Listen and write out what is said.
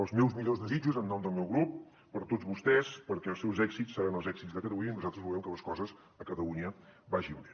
els meus millors desitjos en nom del meu grup per a tots vostès perquè els seus èxits seran els èxits de catalunya i nosaltres volem que les coses a catalunya vagin bé